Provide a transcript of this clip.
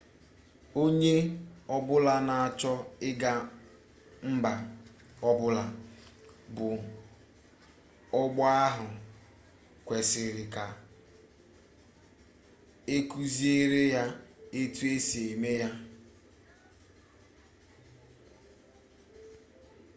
onye ọbụla na-achọ ịga mba ọbụla bụ ọgbọ agha kwesịrị ka e kuziere ya etu e si eme ya